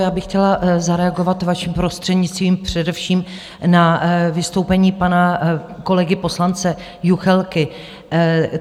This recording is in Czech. Já bych chtěla zareagovat, vaším prostřednictvím, především na vystoupení pana kolegy poslance Juchelky.